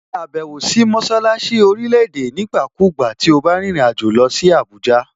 Ṣe ìbẹ̀wò sí mọṣálásí orílẹ̀-èdè nígbàkúùgbà to bá rìnrìn àjò lọ sí Àbújá!